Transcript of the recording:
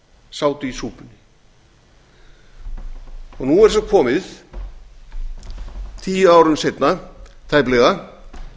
sátu í súpunni og nú er svo komið tíu árum seinna tæplega